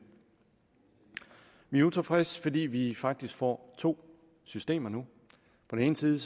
vi er utilfredse fordi vi faktisk får to systemer nu på den ene side